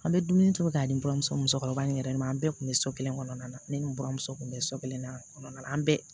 An bɛ dumuni tobi ka ni buramuso musokɔrɔba in yɛrɛ ma an bɛɛ tun bɛ so kelen kɔnɔna na ne ni n buramuso tun bɛ so kelen na kɔnɔna na an bɛɛ